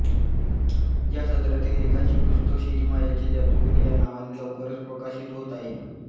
या सदरातील लेखांचे पुस्तक सिनेमायाचे जादूगार या नावाने लवकरच प्रकाशित होत आहे